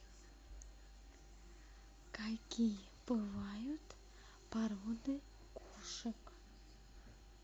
какие бывают породы кошек